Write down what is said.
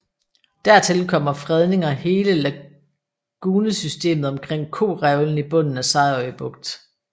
Der til kommer fredninger hele lagunesystemet omkring Korevlen i bunden af Sejerø Bugt